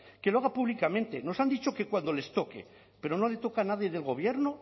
que lo haga públicamente nos han dicho que cuando les toque pero no le toca a nadie del gobierno